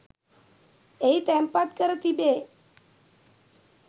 එහි තැන්පත් කර තිබේ.